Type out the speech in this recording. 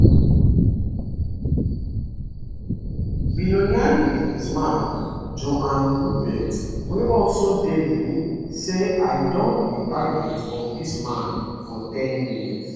billionaire businessman johan rupert wey also dey di meeting say i don be target of dis man for ten years